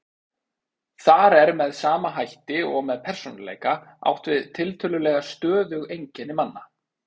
Þar er með sama hætti og með persónuleika átt við tiltölulega stöðug einkenni manna.